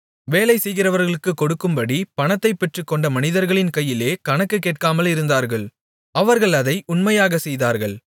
வேலைசெய்கிறவர்களுக்குக் கொடுக்கும்படி பணத்தைப் பெற்றுக்கொண்ட மனிதர்களின் கையிலே கணக்குக் கேட்காமலிருந்தார்கள் அவர்கள் அதை உண்மையாகச் செய்தார்கள்